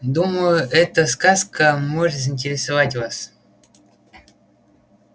думаю эта сказка может заинтересовать вас